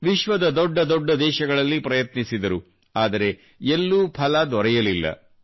ವಿಶ್ವದ ದೊಡ್ಡ ದೊಡ್ಡ ದೇಶಗಳಲ್ಲಿ ಪ್ರಯತ್ನಿಸಿದರು ಆದರೆ ಎಲ್ಲೂ ಫಲ ದೊರೆಯಲಿಲ್ಲ